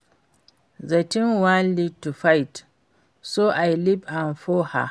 The thing wan lead to fight so I leave am for her